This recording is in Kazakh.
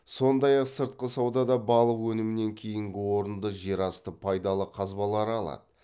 сондай ақ сыртқы саудада балық өнімінен кейінгі орынды жерасты пайдалы қазбалары алады